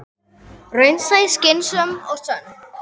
Raunsæ, skynsöm og sönn.